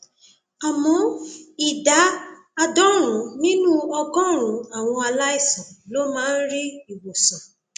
àmọ ìdá àádọrùnún nínú ọgọrùnún àwọn aláìsàn ló máa ń rí ìwòsàn